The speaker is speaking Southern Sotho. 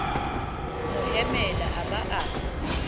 mo hemela a ba a